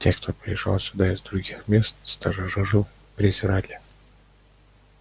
тех кто приезжал сюда из других мест старожилы презирали